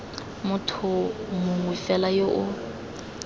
motho mongwe fela yo o